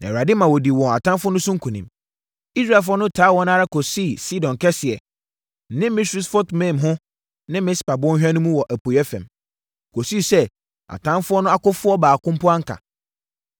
Na Awurade ma wɔdii wɔn atamfoɔ no so nkonim. Israelfoɔ no taa wɔn ara kɔsii Sidon Kɛseɛ ne Misrefot-Maim ho ne Mispa Bɔnhwa no mu wɔ apueeɛ fam, kɔsii sɛ atamfoɔ no akofoɔ baako mpo anka.